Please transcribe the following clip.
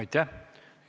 Aitäh!